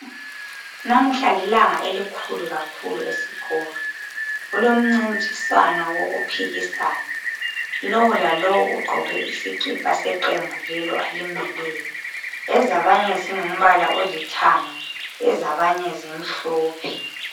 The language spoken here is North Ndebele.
Namhla lilanga elikhulu kakhulu esikolo kulomncintiswano wokuphikisana lo lalo ugqoke isikipha seqembu lelo alimeleyo ezabanye zilithanga ezabanye zimhlophe